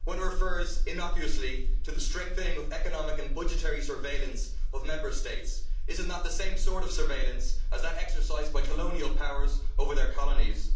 One refers innocuously to the strengthening of economic and budgetary surveillance of Member States'. Is that not the same sort of surveillance as that exercised by colonial powers over their colonies?